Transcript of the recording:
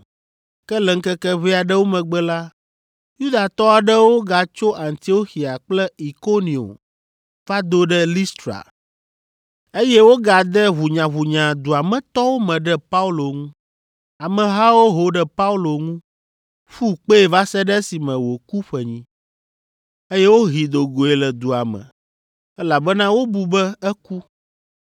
Ke le ŋkeke ʋɛ aɖewo megbe la, Yudatɔ aɖewo gatso Antioxia kple Ikonio va do ɖe Listra, eye wogade ʋunyaʋunya dua me tɔwo me ɖe Paulo ŋu. Amehawo ho ɖe Paulo ŋu, ƒu kpee va se ɖe esime wòku ƒenyi, eye wohee do goe le dua me, elabena wobu be eku.